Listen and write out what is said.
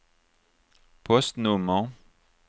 postnummer